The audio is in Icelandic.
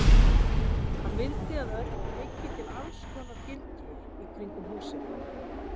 Hann vildi að Örn byggi til alls konar gildrur í kringum húsið.